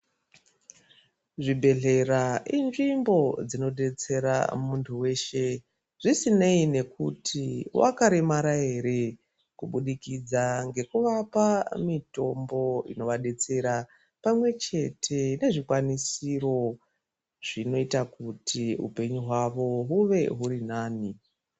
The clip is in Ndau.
Zvibhedhlera inzvimbo dzinobetsera muntu veshe zvisinei nekuti vakaremara ere. Kubudikidza ngekuvapa mitombo inovabetsera pamwe chete nezvikwanisiro zvinota kuti upenyu hwavo huve huri nani.